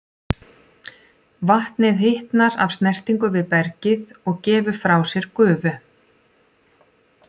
Vatnið hitnar af snertingu við bergið og gefur frá sér gufu.